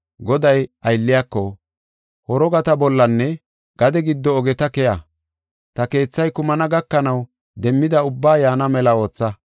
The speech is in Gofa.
“Goday aylliyako, ‘Horogata bollanne, gade giddo ogeta keya, ta keethay kumana gakanaw demmida ubba yaana mela ootha.